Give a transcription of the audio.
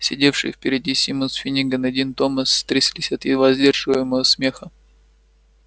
сидевшие впереди симус финниган и дин томас тряслись от едва сдерживаемого смеха